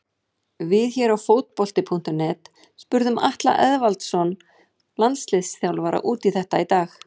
Við hér á Fótbolti.net spurðum Atla Eðvaldsson landsliðsþjálfara út í þetta í dag.